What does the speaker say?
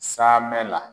Saamɛ la